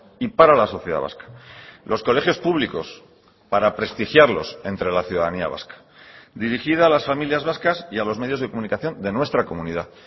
y para la sociedad vasca los colegios públicos para prestigiarlos entre la ciudadanía vasca dirigida a las familias vascas y a los medios de comunicación de nuestra comunidad